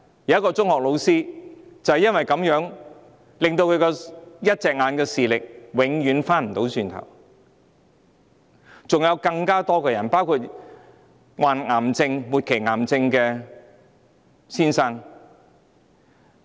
有一名中學老師的右眼因而永久失去正常視力，還有很多人受傷，例如患上末期癌症的一位先生。